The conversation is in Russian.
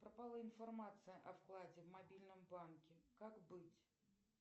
пропала информация о вкладе в мобильном банке как быть